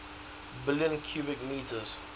billion cubic meters